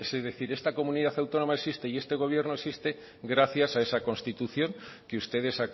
es decir esta comunidad autónoma existe y este gobierno existe gracias a esa constitución que ustedes